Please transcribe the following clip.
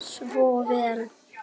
Svo vel.